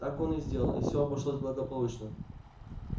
так он и сделал и все обошлось благополучно